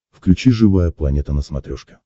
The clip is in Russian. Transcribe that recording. включи живая планета на смотрешке